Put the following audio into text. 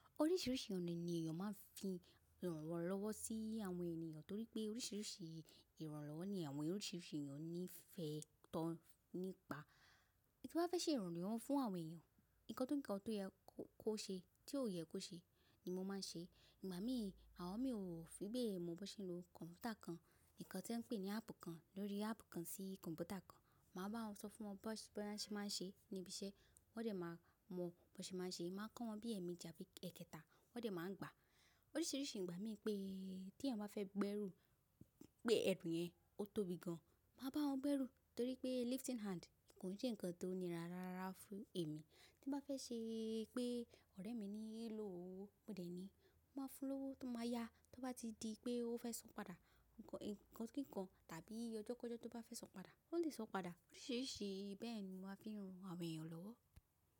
Oríṣiríṣi ọ̀nà ni ènìyàn máa ń fi rànwọ́ lọ́wọ́ sí àwọn ènìyàn torí pé oríṣiríṣi ìrànlọ́wọ́ ni àwọn oríṣiríṣi ènìyàn ní fẹ́ tán nípa. Kí bá fẹ́ ṣe ìrànlọ́wọ́ fún àwọn ènìyàn, nǹkan tó ń kàn tó yẹ kó ṣe tí ó yẹ kó ṣe ni mo máa ń ṣe. Ìgbà mí, àwọn mi ò fi bẹ́ẹ̀ mọ bí wọ́n ṣe ń lo kọ̀m̀pútà kan, nǹkan tí wọ́n ń pè ní áàpù kan ló rí áàpù kan sí kọ̀m̀pútà kan. Màá bá wọn sọ fún wọn bó ṣe máa ń ṣe níbi iṣẹ́, wọ́n dẹ̀ máa mọ bó ṣe máa ń ṣe. Máa kọ́ wọn bí ẹ̀meji bí èkètá, wọ́n dẹ̀ máa ń gbà. Oríṣiríṣi ìgbà mìíràn pé tí ẹ̀yin bá fẹ́ gbẹ́ ẹrù, pé ẹrù yẹn, ó tóbi gan, màá bá wọn gbẹ́ ẹrù torí pé lifting hand kò ní jẹ́ nǹkan tó nira rárá fún ẹ̀mí. Tí bá fẹ́ ṣe pé ọ̀rẹ́ mi ní í lò owó, mo dẹ̀ ni, mo máa fún lọ́wọ́ tó máa yá tó bá ti di pé ó fẹ́ sọ̀ padà. Ǹkan, ǹkan kíkan tàbí ọjọ́kọjọ́ tó bá fẹ́ sán padà, ó lè sán padà. Oríṣiríṣi bẹ́ẹ̀ ni mo màá fi ń ran àwọn ènìyàn lọ́wọ́.